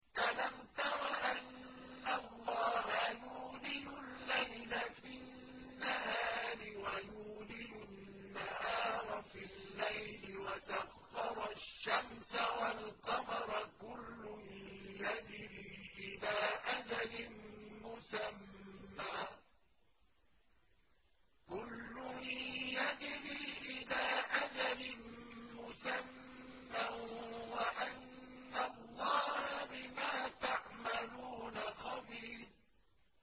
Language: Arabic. أَلَمْ تَرَ أَنَّ اللَّهَ يُولِجُ اللَّيْلَ فِي النَّهَارِ وَيُولِجُ النَّهَارَ فِي اللَّيْلِ وَسَخَّرَ الشَّمْسَ وَالْقَمَرَ كُلٌّ يَجْرِي إِلَىٰ أَجَلٍ مُّسَمًّى وَأَنَّ اللَّهَ بِمَا تَعْمَلُونَ خَبِيرٌ